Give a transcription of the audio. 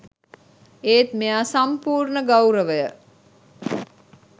ඒත් මෙයා සම්පූර්ණ ගෞරවය